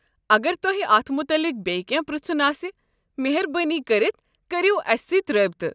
اگر تۄہہِ اتھ متعلق بیٚیہِ کٮ۪نٛہہ پرٛژھُن آسہِ، مہربٲنی كٔرتھ کٔرو اسہِ سٕتۍ رٲبطہٕ۔